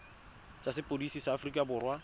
tsa sepodisi sa aforika borwa